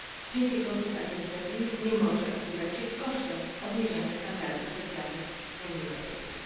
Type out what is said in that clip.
Cięcie kosztów administracyjnych nie może odbywać się kosztem obniżania standardów socjalnych w Unii Europejskiej.